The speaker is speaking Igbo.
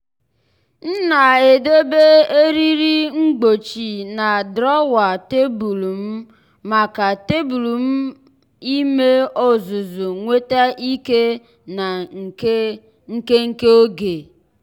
m na-edobe eriri mgbochi na drawer tebụl m maka tebụl m maka ime ọzụzụ nweta ike na nke nke oge.